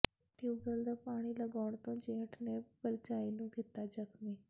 tubewell ਦਾ ਪਾਣੀ ਲਗਾਉਣ ਤੋਂ ਜੇਠ ਨੇ ਭਰਜਾਈ ਨੂੰ ਕੀਤਾ ਜ਼ਖ਼ਮੀ